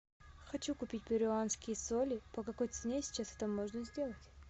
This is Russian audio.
хочу купить перуанские соли по какой цене сейчас это можно сделать